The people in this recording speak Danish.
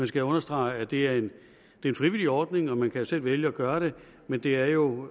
skal understrege at det er en frivillig ordning og man kan selv vælge at gøre det men det er jo